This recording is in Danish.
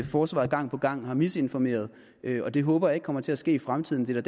forsvaret gang på gang har misinformeret og det håber jeg ikke kommer til at ske i fremtiden det er